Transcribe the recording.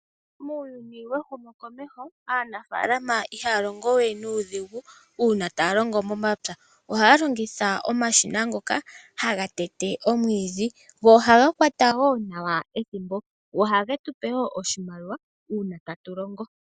Muuyuni wehumo komeho, aanafaalama ihaya longewe nuudhigu, uuna taya longo momapya, ohaya longitha omashina ngoka haga tete omwiidhi go ohaga kwata wo nawa ethimbo, oha getupe oshimaliwa uuna tatu longo.